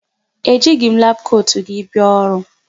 E jighị m labụ kotu gị bia ọrụ.